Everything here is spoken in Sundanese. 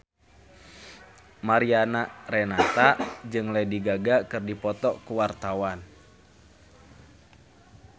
Mariana Renata jeung Lady Gaga keur dipoto ku wartawan